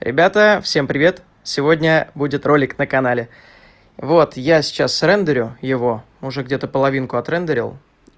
ребята всем привет сегодня будет ролик на канале вот я сейчас рендерю его уже где-то половинку отрендерил